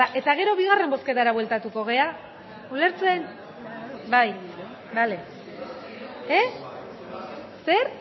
behar da eta gero bigarren bozketara bueltatuko gara ulertzen bai bale zer